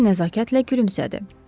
Bemer nəzakətlə gülümsədi.